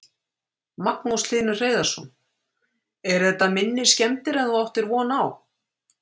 Magnús Hlynur Hreiðarsson: Eru þetta minni skemmdir en þú áttir von á?